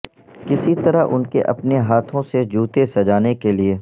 کس طرح ان کے اپنے ہاتھوں سے جوتے سجانے کے لئے